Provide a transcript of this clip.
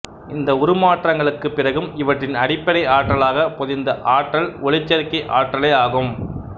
இந்த உருமாற்றங்களுக்குப் பிறகும் இவற்றின் அடிப்படை ஆற்றலாகப் பொதிந்த ஆற்றல் ஒளிச்சேர்க்கை ஆற்றலேயாகும்